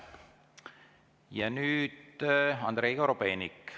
Nüüd Andrei Korobeinik.